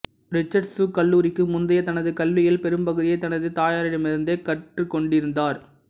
Richards கல்லூரிக்கு முந்தைய தனது கல்வியில் பெரும்பகுதியைத் தனது தாயாரிடமிருந்தே கற்றுக்கொண்டிருந்தார்